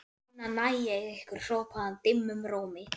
Núna næ ég ykkur hrópaði hann dimmum rómi.